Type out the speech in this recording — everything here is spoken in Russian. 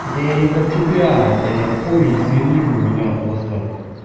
это я не про тебя это я коле извини у меня просто